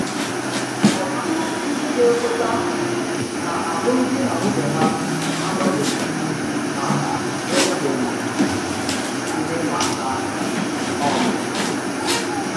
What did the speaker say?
Ọ̀tụ̀tù ndí ga-ekwètà nà alụmdi na nwunye hà anobeghi ná ènwèbèghị̀ ìhè̀ ìmààkà um.